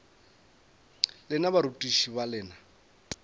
lena le barutiši ba lena